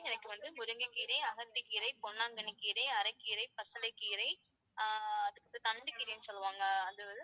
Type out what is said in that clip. எனக்கு வந்து முருங்கைக்கீரை, அகத்திக்கீரை, பொன்னாங்கண்ணிக் கீரை, அரைக்கீரை, பசலைக் கீரை, ஆஹ் அடுத்து தண்டுக்கீரைன்னு சொல்லுவாங்க.